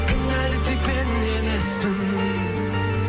кінәлі тек мен емеспін